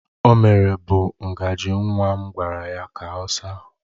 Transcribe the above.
O mere bụ ngaji nwa m gwara ya ka ọ saa